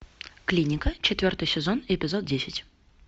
клиника четвертый сезон эпизод десять